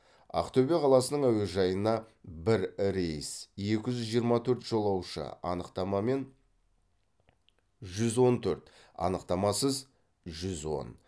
ақтөбе қаласының әуежайына бір рейс екі жүз жиырма төрт жолаушы анықтамамен жүз он төрт анықтамасыз жүз он